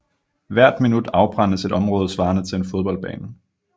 Hvert minut afbrændes et område svarende til en fodboldbane